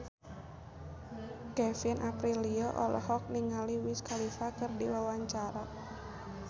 Kevin Aprilio olohok ningali Wiz Khalifa keur diwawancara